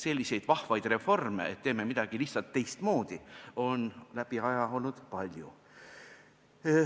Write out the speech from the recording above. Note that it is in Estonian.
Selliseid vahvaid reforme, et teeme midagi lihtsalt teistmoodi, on aja jooksul olnud palju.